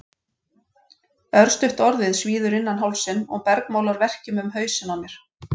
Örstutt orðið svíður innan hálsinn og bergmálar verkjum um hausinn á mér.